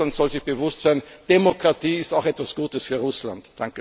Russland soll sich bewusst sein, Demokratie ist auch etwas Gutes für Russland!